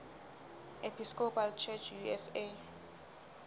episcopal church usa